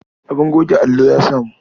Abin goge allo ya samu.